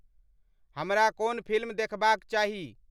हमरा कोन फिल्म देखबाक़ चाही